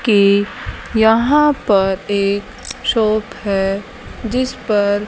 की यहां पर एक शॉप है जिस पर--